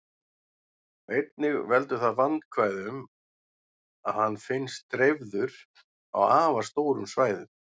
Einnig veldur það vandkvæðum að hann finnst dreifður á afar stórum svæðum.